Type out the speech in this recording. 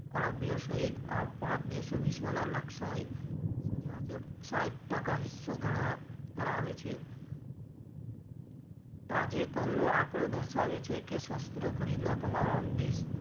Arabia સહીત આ પાંચ દેશો વિશ્વના સાહીઠ ટકા હિસ્સો ધરાવે છે તાજેતરનો આંકડો દર્શાવે છે કે શસ્ત્ર ખરીદનાર તમામ દેશ,